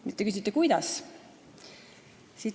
Nüüd te küsite, kuidas.